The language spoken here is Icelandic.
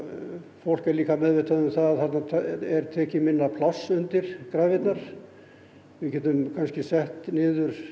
fólk er líka meðvitað um það að þarna er tekið minna pláss undir grafirnar við getum kannski sett niður